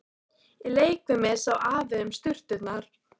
Í leikfiminni sá Afi um sturturnar.